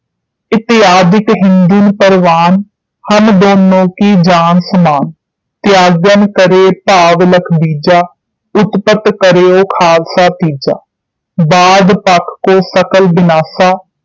ਇਤ੍ਯਾਦਿਕ ਹਿੰਦੁਨ ਪਰਵਾਨ ਹਮ ਦੋਨੋਂ ਕੋ ਜਾਨਿ ਸਮਾਨ ਤ੍ਯਾਗਨ ਕਰੇ ਭਾਵ ਲਖਿ ਬੀਜਾ ਉਤਪਤ ਕਰਯੋ ਖਾਲਸਾ ਤੀਜਾ ਬਾਦ ਪੱਖ ਤੋਂ ਸਕਲ ਬਿਨਾਸਾ